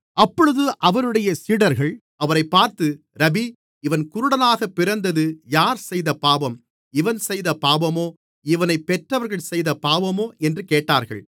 அப்பொழுது அவருடைய சீடர்கள் அவரைப் பார்த்து ரபீ இவன் குருடனாக பிறந்தது யார் செய்த பாவம் இவன் செய்த பாவமோ இவனைப் பெற்றவர்கள் செய்த பாவமோ என்று கேட்டார்கள்